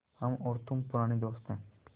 हम और तुम पुराने दोस्त हैं